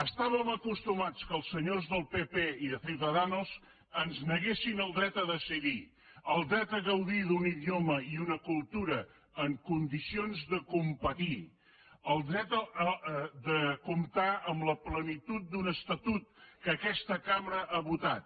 estàvem acostumats que els senyors del pp i de ciudadanos ens neguessin el dret a decidir el dret a gaudir d’un idioma i una cultura en condicions de competir el dret de comptar amb la plenitud d’un estatut que aquesta cambra ha votat